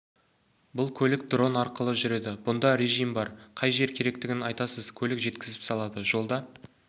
бұл көлік дрон арқылы жүреді бұнда режим бар қай жер керектігін айтасыз көлік жеткізіп салады жолда